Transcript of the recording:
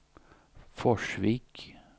Forsvik